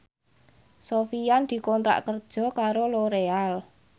Sofyan dikontrak kerja karo Loreal